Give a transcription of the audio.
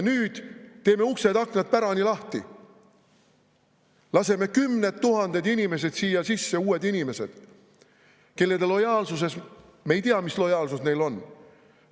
Nüüd teeme uksed-aknad pärani lahti, laseme kümned tuhanded inimesed siia sisse, uued inimesed, kelle kohta me ei tea, milline nende lojaalsus on.